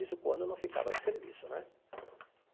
Isso quando não ficava de serviço, né?